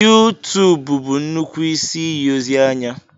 YouTube bụ nnukwu isi iyi ozi anya.